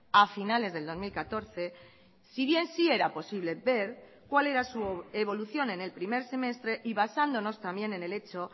a finales del dos mil catorce si bien sí era posible ver cuál era su evolución en el primer semestre y basándonos también en el hecho